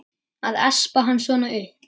Að espa hann svona upp!